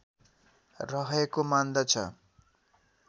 रहेको मान्दछ